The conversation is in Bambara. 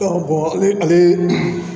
ale